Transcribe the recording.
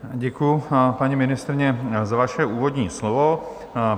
Děkuji, paní ministryně, za vaše úvodní slovo.